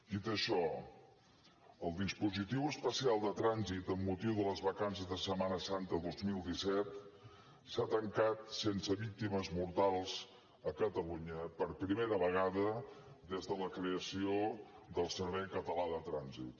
dit això el dispositiu especial de trànsit amb motiu de les vacances de setmana santa dos mil disset s’ha tancat sense víctimes mortals a catalunya per primera vegada des de la creació del servei català de trànsit